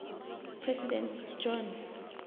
president john